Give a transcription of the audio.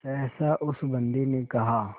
सहसा उस बंदी ने कहा